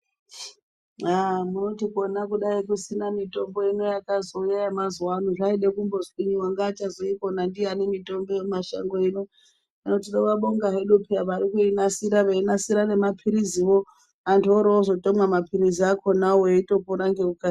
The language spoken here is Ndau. Aaa munoti kona kudai kusina mitombo ino yakazouya mazuva ano zvaide kumbo zwinyi wanga achazo ikona ndiyani mitombo ye mashango ino hino tinova bonga hedu peya vari kuyi nasira vei nasira ne mapiriziwo antu wori ozo tomwa mapirizi akonawo eyi pona ngeku kasira.